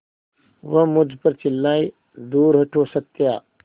वह मुझ पर चिल्लाए दूर हटो सत्या